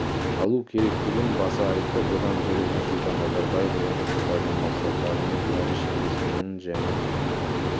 алу керектігін баса айтты бұдан бөлек нұрсұлтан назарбаев орнықты даму мақсаттары мен париж келісімінің және